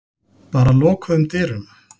Bara lokuðum dyrum.